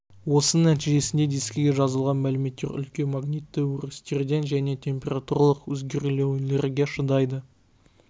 осының нәтижесінде дискіге жазылған мәліметтер үлкен магнитті өрістерден және температуралық өзгерулерге шыдайды